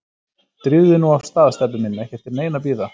Drífðu þig nú af stað, Stebbi minn, ekki eftir neinu að bíða